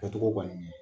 Kɛcogo kɔni